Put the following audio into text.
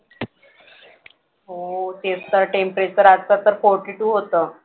हो तेच तर temperature आता तर forty two होतं.